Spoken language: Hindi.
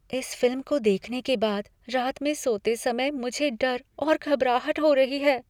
इस फिल्म को देखने के बाद रात में सोते समय मुझे डर और घबराहट हो रही है।